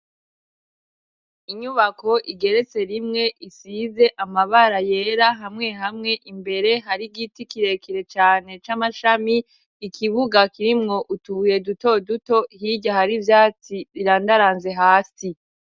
Inyubako igeretse rimwe. Isize amabara yera, hamwe hamwe imbere hari igiti kirekire cane c'amashami. Ikibuga kirimwo utubuye duto duto hirarya hari ivyatsi birandaranze hasi.